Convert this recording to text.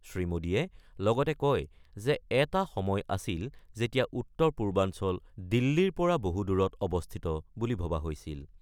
শ্ৰীমোডীয়ে লগতে কয় যে এটা সময় আছিল, যেতিয়া উত্তৰ-পূৰ্বাঞ্চল দিল্লীৰ পৰা বহু দূৰত অৱস্থিত বুলি ভবা হৈছিল।